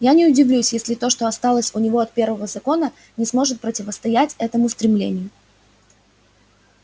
я не удивлюсь если то что осталось у него от первого закона не сможет противостоять этому стремлению